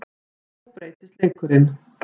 En nú breytist leikurinn.